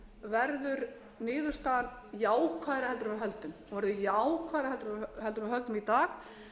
þá verður niðurstaðan jákvæðari heldur en við höldum í dag